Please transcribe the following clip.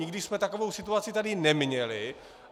Nikdy jsme takovou situaci tady neměli.